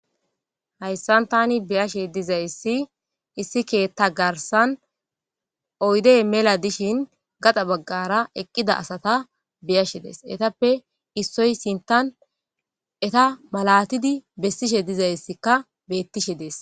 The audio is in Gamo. hayssan tani biyashe dizayssi issi keetta garsan oydey mela dishin gaxa baggara eqqida asata beyashe days etappe issoy sintan eta malatidi bessishe dizayssikka bettishe dees